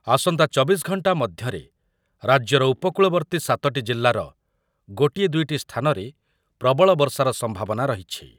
ଆସନ୍ତା ଚବିଶ ଘଣ୍ଟା ମଧ୍ୟରେ ରାଜ୍ୟର ଉପକୂଳବର୍ତ୍ତୀ ସାତଟି ଜିଲ୍ଲାର ଗୋଟିଏ ଦୁଇଟି ସ୍ଥାନରେ ପ୍ରବଳ ବର୍ଷାର ସମ୍ଭାବନା ରହିଛି ।